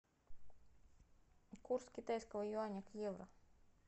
курс китайского юаня к евро